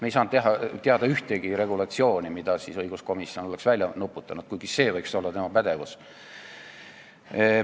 Me ei saanud teada ühtegi regulatsiooni, mille õiguskomisjon oleks välja nuputanud, kuigi see võiks olla tema pädevus.